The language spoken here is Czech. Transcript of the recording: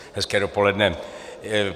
Hezké dopoledne.